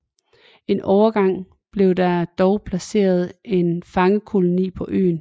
En overgang blev der dog placeret en fangekoloni på øen